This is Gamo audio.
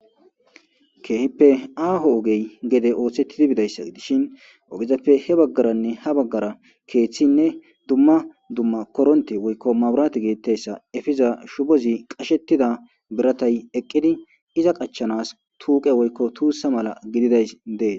Keehippe aaho ogey gede ooththettidi bidayssa dishin ogezappe he baggaranne ha baggara keeththinne dumma dumma koronte woykko maburaati geettayssa efiza shubozi qashettida biratay eqqidi iza qachanas tuuqe woykko tuussa mala gididays dees.